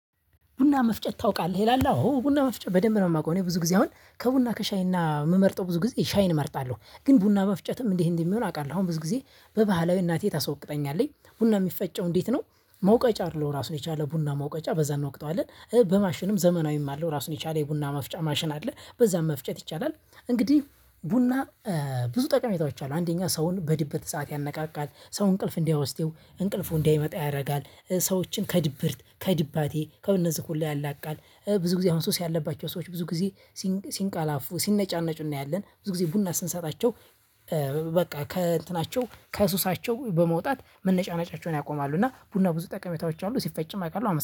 ቡና መፍጨት ታውቃለህ? ይላል። አዎ ቡና መፍጨት በደንብ ነው የማውቀው። እኔ ብዙ ጊዜ አሁን ከቡና ከሻይና የምመርጠው ብዙ ጊዜ ሻይን እመርጣለሁ። ግን ቡና መፍጨትም እንዲህ እንዲህ የሚሆን አውቃለሁ። አሁን ብዙ ጊዜ በባህላዊ እናቴ ታስወቅጠኛለች። ቡና የሚፈጨው እንዴት ነው መውቀጫ አለው ራሱን የቻለ ቡና መውቀጫ በዛ እንወቅጠዋለን። በማሽንም ዘመናዊም አለው። ራሱን የቻለ የቡና ማፍጫ ማሽን አለ። በዛም መፍጨት ይቻላል። እንግዲህ ቡና ብዙ ጠቀሜታዎች አሉት። አንደኛ ሰውን በድብት ሰዓት ያነቃቃል። ሰው እንቅልፍ እንዲያወስደው እንቅልፉ እንዲመጣ ያደርጋል። ሰዎችን ከድብርት ከድባቴ ከእነዚህ ሁላ ያላቅቃል። ብዙ ጊዜ አሁን ሱስ ያለባቸው ሰዎች ብዙ ጊዜ ሲንቀላፉ ሲነጫነጩ እናያለን። ብዙ ጊዜ ቡና ስንሰጣቸው በቃ ከእንትናቸው ከሱሳቸው በመውጣት መነጫነጫቸውን ያቆማሉ። እና ቡና ብዙ ጠቀሜታዎች አሉ። ሲፈጭም አቃለሁ። አመሰግናለሁ።